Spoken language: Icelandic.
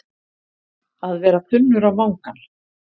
Að vera þunnur á vangann